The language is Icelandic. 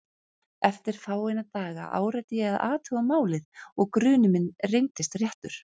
Eftir fáeina daga áræddi ég að athuga málið og grunur minn reyndist réttur.